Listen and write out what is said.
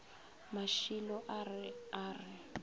mašilo a re a re